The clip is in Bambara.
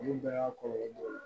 Olu bɛɛ y'a kɔlɔlɔ dɔ ye